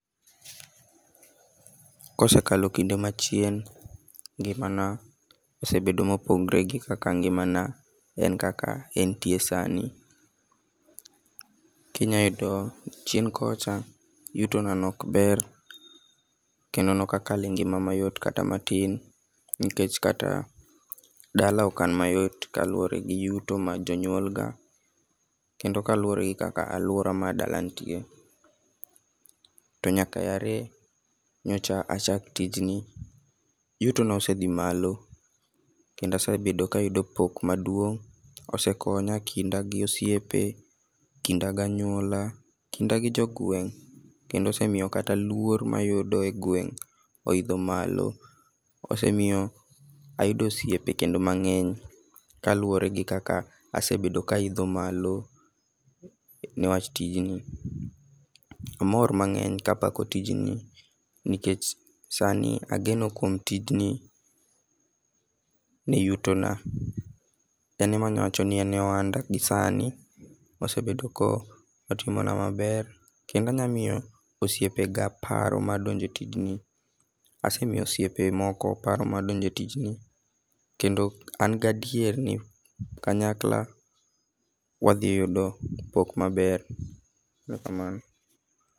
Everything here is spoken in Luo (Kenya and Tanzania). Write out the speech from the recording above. Kosekalo kinde machien, ngimana osebedo mopogre gi kaka ngimana en kaka entie sani. Kinya yudo chien kocha, yutona ne ok ber kendo ne ok akal e ngima mayot kata matin nikech kata dala ok an mayot kaluwore gi yuto mar jonyuol ga kendo kaluwore gi kaka aluora mar dala nitie. To nyaka ae nyocha achak tijni, yutona osedhi malo kendo asebet kayudo pok maduong', osekonya ekinda gosiepe, ekinda ganyuola. Kinda gi jogweng' kendo osemiyo kata luor mayud egweng' oidho malo. Osemiyo ayudo osiepe kendo mang'eny kaluwore gi kaka asebedo ka aidho malo niwach tijni. Amor mang'eny kapako tijni, nikech sani ageno kuom tijni ni yutona. En ema anyalo wacho ni en e ohanda gi sani. Osebedo ka otimona maber kendo onyalo miyo osiepega paro ma donjo e tijni. Asemiyo osiepe moko paro mar donjo e tijni, kendo an gi adier ni kanyakla wadhi yudo pok maber. Erokamano.